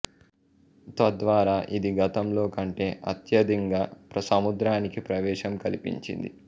తద్వారా ఇది గతంలో కంటే అత్యధింగా సముద్రానికి ప్రవేశం కల్పించింది